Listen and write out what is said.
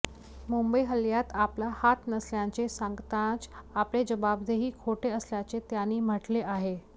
मुंबई हल्ल्यात आपला हात नसल्याचे सांगतानाच आपले जबाबही खोटे असल्याचे त्याने म्हटले आहे